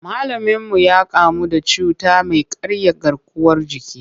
Malaminmu ya kamu da cuta mai karya garkuwar jiki.